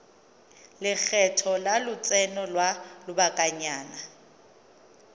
lekgetho la lotseno lwa lobakanyana